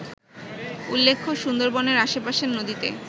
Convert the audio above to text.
উল্লেখ্য, সুন্দরবনের আশেপাশের নদীতে